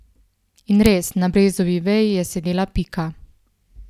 In res, na brezovi veji je sedela Pika.